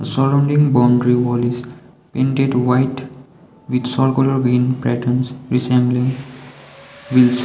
surrounding boundary wall is painted white with circular patterns resembling wheels.